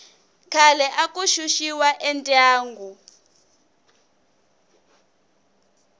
khale aku xuxiwa endyangu